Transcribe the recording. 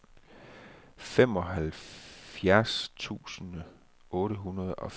femoghalvfjerds tusind otte hundrede og femogfirs